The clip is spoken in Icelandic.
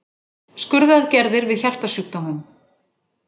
Skurðaðgerðir við hjartasjúkdómum.